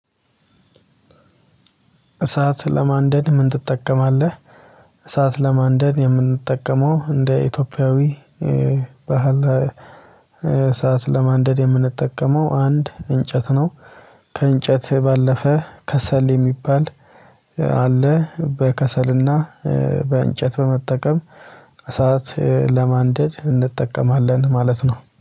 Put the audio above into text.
እሳት ለማንደድ ምን ትጠቀማለህ? እሳት ለማንደድ የምንጠቀመው እንደ ኢትዮጵያዊ ባህል እሳት ለማንደድ የምንጠቀመው አንድ እንጨት ነው። ከእንጨት ባለፈ ከሰል የሚባል አለ። በከሰልና በእንጨት በመጠቀም እሳት ለማንደድ እንጠቀማለን ማለት ነው